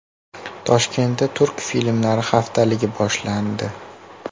Toshkentda turk filmlari haftaligi boshlandi.